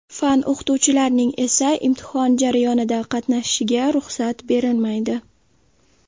Fan o‘qituvchilarining esa imtihon jarayonida qatnashishiga ruxsat berilmaydi.